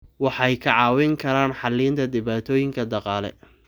Waxay kaa caawin karaan xallinta dhibaatooyinka dhaqaale.